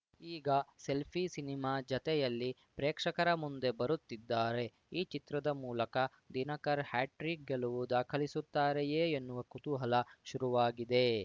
ಈಗ selfie cinema ಜತೆಯಲ್ಲಿ ಪ್ರೇಕ್ಷಕರ ಮುಂದೆ ಬರುತ್ತಿದ್ದಾರೆ ಈ ಚಿತ್ರದ ಮೂಲಕ ದಿನಕರ್‌ ಹ್ಯಾಟ್ರೀಕ್‌ ಗೆಲುವು ದಾಖಲಿಸುತ್ತಾರೆಯೇ ಎನ್ನುವ ಕುತೂಹಲ ಶುರುವಾಗಿದೆ